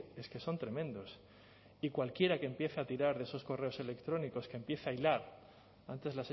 es que son tremendos y cualquiera que empiece a tirar de esos correos electrónicos que empieza a hilar antes